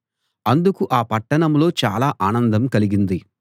అందుకు ఆ పట్టణంలో చాలా ఆనందం కలిగింది